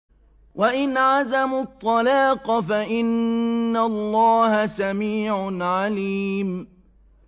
وَإِنْ عَزَمُوا الطَّلَاقَ فَإِنَّ اللَّهَ سَمِيعٌ عَلِيمٌ